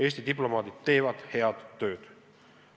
Eesti diplomaadid teevad head tööd.